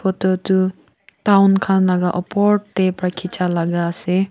etu tu town laga opor te para khecha laga ase.